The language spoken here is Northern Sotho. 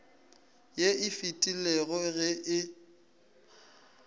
ye e fetilego ge e